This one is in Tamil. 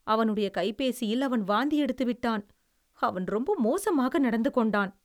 அவனுடைய கைப்பேசியில் அவன் வாந்தி எடுத்து விட்டான். அவன் ரொம்ப மோசமாக நடந்துகொண்டான்.